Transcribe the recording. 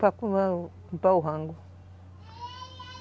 Para o rango.